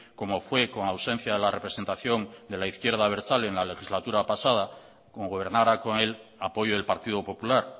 como fue con ausencia de la representación de la izquierda abertzale en la legislatura pasada como gobernara con el apoyo del partido popular